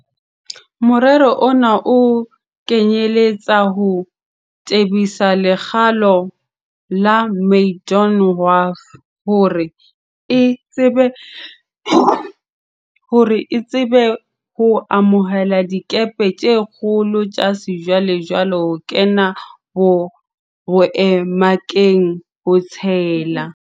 Morero ona o kenyeletsa ho tebisa lekgalo la Maydon Wharf hore e tsebe ho amohela dikepe tse kgolo tsa sejwale-jwale ho kena boemakepe, ho tshela